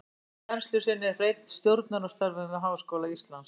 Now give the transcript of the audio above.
Jafnframt rannsóknum og kennslu sinnti Hreinn stjórnunarstörfum við Háskóla Íslands.